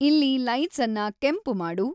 ಇಲ್ಲಿ ಲೈಟ್ಸನ್ನ ಕೆಂಪು ಮಾಡು